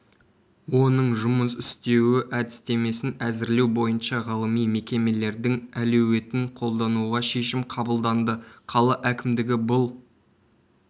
оның жұмыс істеуі әдістемесін әзірлеу бойынша ғылыми мекемелердің әлеуетін қолдануға шешім қабылданды қала әкімдігі бұл